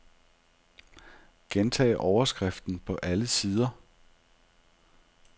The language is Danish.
Gentag overskriften på alle sider.